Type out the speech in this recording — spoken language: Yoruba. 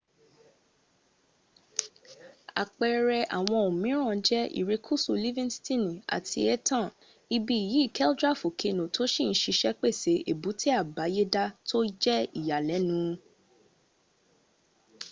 apeere awon omiran je irekusu livinstini ati etan ibi yi kldera fokeno to si n sise pese ebute abayeda to je iyalenu